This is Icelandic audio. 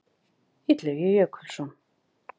Illugi Jökulsson.